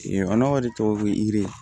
tɔw bɛ yiri